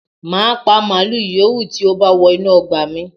Màá pa màlúù yìówù tí ó bá wọ inú ọgbà mi